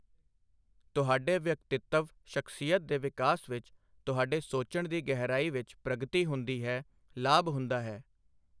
ਤੁਹਾਡੇ ਵਿਅਕਤਿੱਤਵ ਸ਼ਖ਼ਸੀਅਤ ਦੇ ਵਿਕਾਸ ਵਿੱਚ, ਤੁਹਾਡੇ ਸੋਚਣ ਦੀ ਗਹਿਰਾਈ ਵਿੱਚ ਪ੍ਰਗਤੀ ਹੁੰਦੀ ਹੈ, ਲਾਭ ਹੁੰਦਾ ਹੈ।